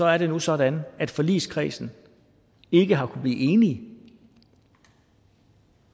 er nu sådan at forligskredsen ikke har kunnet blive enige